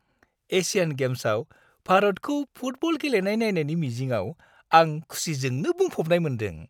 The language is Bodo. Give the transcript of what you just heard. एशियान गेम्सआव भारतखौ फुटबल गेलेनाय नायनायनि मिजिंआव आं खुसिजों बुंफबनाय मोनदों।